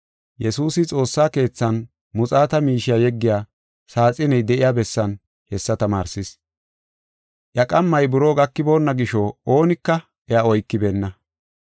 Yesuusi xoossa keethan muxaata miishiya yeggiya saaxiney de7iya bessan hessa tamaarsis. Iya qammay buroo gakiboonna gisho oonika iya oykibeenna.